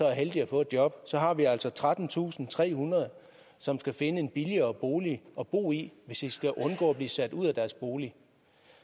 er heldige at få et job så har vi altså trettentusinde og trehundrede som skal finde en billigere bolig at bo i hvis de skal undgå at blive sat ud af deres bolig